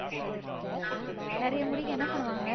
நிறைய முடிக்கு என்ன பண்ணுவாங்க